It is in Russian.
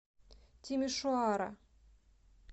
тимишоара